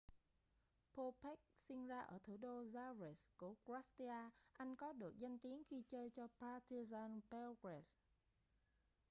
bobek sinh ra ở thủ đô zagreb của croatia anh có được danh tiếng khi chơi cho partizan belgrade